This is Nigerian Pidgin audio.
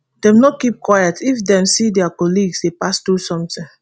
dem no keep quiet if dem see dia colleagues dey pass through something